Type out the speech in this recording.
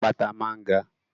Àpáta máa ń ga.